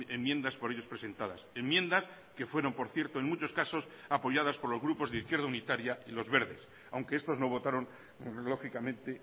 enmiendas por ellos presentadas enmiendas que fueron por cierto en muchos casos apoyadas por los grupos de izquierda unitaria y los verdes aunque estos no votaron lógicamente